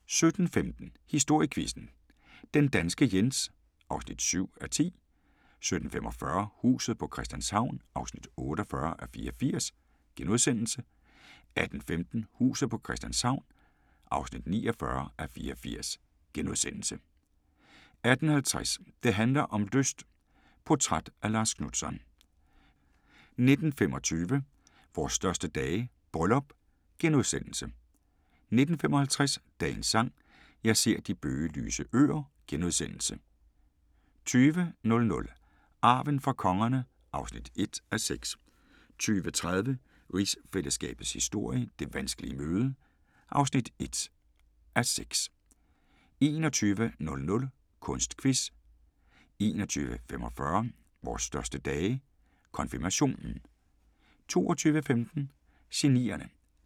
17:15: Historiequizzen: Den danske Jens (7:10) 17:45: Huset på Christianshavn (48:84)* 18:15: Huset på Christianshavn (49:84)* 18:50: Det handler om lyst - portræt af Lars Knutzon 19:25: Vores største dage – bryllup * 19:55: Dagens Sang: Jeg ser de bøgelyse øer * 20:00: Arven fra kongerne (1:6) 20:30: Rigsfællesskabets historie: Det vanskelige møde (1:6) 21:00: Kunstquiz 21:45: Vores største dage – Konfirmation